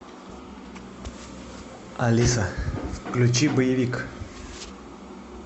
алиса включи боевик